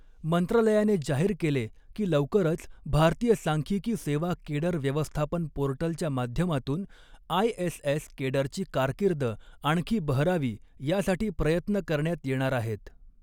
मंत्रालयाने जाहीर केले की लवकरच भारतीय सांख्य़िकी सेवा केडर व्यवस्थापन पोर्टलच्या माध्यमातून आयएसएस केडरची कारकीर्द आणखी बहरावी यासाठी प्रयत्न करण्यात येणार आहेत.